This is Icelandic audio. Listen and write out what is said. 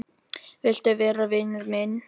Viltu vera vinur minn?